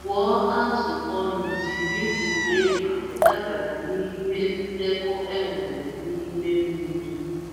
Gụọ azụ ọnụ jírí tụlee ma ọdabara n'ihe ndekọ enwere n'ime mmiri.